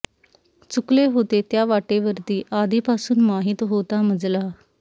चुकले होते त्या वाटेवरती आधी पासून माहित होता मजला